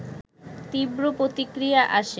তীব্র প্রতিক্রিয়া আসে